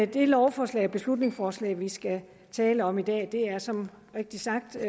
det lovforslag og beslutningsforslag vi skal tale om i dag er som rigtig sagt